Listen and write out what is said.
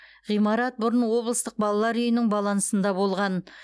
ғимарат бұрын облыстық балалар үйінің балансында болған